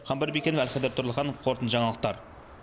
қамбар бекенов әлхайдар тұрлыханов қорытынды жаңалықтар